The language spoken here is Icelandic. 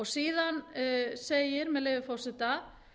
síðan segir með leyfi forseta